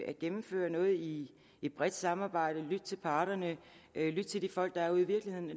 at gennemføre noget i et bredt samarbejde lytte til parterne lytte til de folk der er ude i virkeligheden og